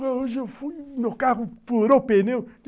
Hoje eu fui no carro, furou o pneu.